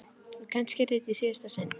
Og kannski yrði þetta í síðasta sinn.